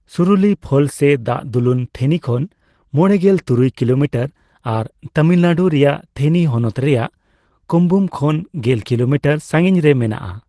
Suruli falls ᱥᱮ ᱫᱟᱜ ᱫᱩᱞᱩᱱ ᱛᱷᱮᱱᱤ ᱠᱷᱚᱱ ᱢᱚᱲᱮᱜᱮᱞ ᱛᱩᱨᱩᱭ ᱠᱤᱞᱳᱢᱤᱴᱟᱨ ᱟᱨ ᱛᱟᱹᱢᱤᱞᱱᱟᱹᱲᱩ ᱨᱮᱭᱟᱜ ᱛᱷᱮᱱᱤ ᱦᱚᱱᱚᱛ ᱨᱮᱭᱟᱜ ᱠᱩᱢᱵᱩᱢ ᱠᱷᱚᱱ ᱜᱮᱞ ᱠᱤᱞᱳᱢᱤᱴᱟᱨ ᱥᱟᱸᱜᱤᱧ ᱨᱮ ᱢᱮᱱᱟᱜᱼᱟ ᱾